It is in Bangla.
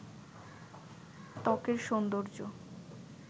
ত্বকের সৌন্দর্য